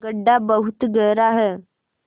गढ्ढा बहुत गहरा है